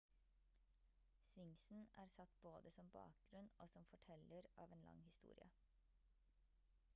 sphinxen er satt både som bakgrunn og som forteller av en lang historie